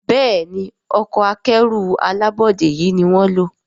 Béèni Ọkọ̀ akẹ́rù alábọ́dé yi ní wón ló.